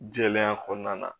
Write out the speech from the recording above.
Jɛlenya kɔnɔna na